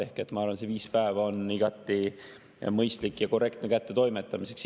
Ehk ma arvan, et see viis päeva on igati mõistlik ja korrektne kättetoimetamiseks.